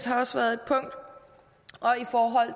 har også været punkt og